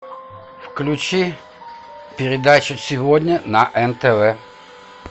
включи передачу сегодня на нтв